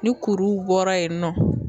Ni kuruw bɔra yen nɔ